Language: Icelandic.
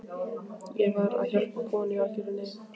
Ég var að hjálpa konu í algjörri neyð.